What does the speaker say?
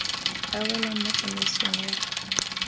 a welang mo tsamaisong ya